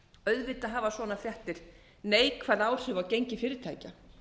auðvitað hafa svona fréttir neikvæð áhrif á gengi fyrirtækja